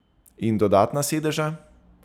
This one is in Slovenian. In dodatna sedeža?